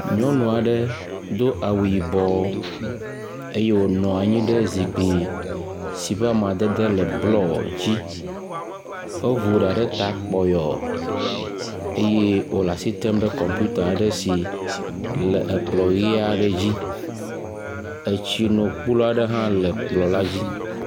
Nyɔnu aɖe do awu yibɔ eye wònɔ anyi ɖe zikpui si ƒe amadede le blɔ dzi. Evu ɖa ɖe ta kpɔyɔɔ eye wòle asi tem ɖe kɔpiuta aɖe si le ekplɔ̃ ʋi aɖe dzi. Etsinokplu aɖe hã le kplɔ̃ la dzi